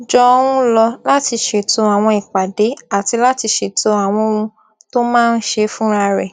jọ ń lò láti ṣètò àwọn ìpàdé àti láti ṣètò àwọn ohun tó máa n ṣe fúnra rẹ